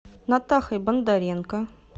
натахой бондаренко